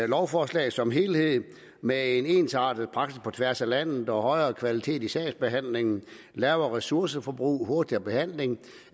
lovforslaget som helhed med en ensartet praksis på tværs af landet og højere kvalitet i sagsbehandlingen lavere ressourceforbrug og hurtigere behandling